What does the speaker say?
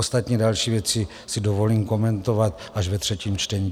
Ostatně další věci si dovolím komentovat až ve třetím čtení.